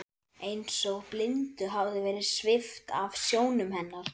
Eins og blindu hafi verið svipt af sjónum hennar.